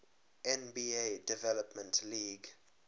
nba development league